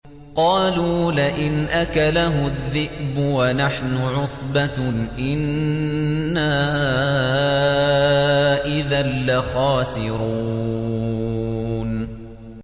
قَالُوا لَئِنْ أَكَلَهُ الذِّئْبُ وَنَحْنُ عُصْبَةٌ إِنَّا إِذًا لَّخَاسِرُونَ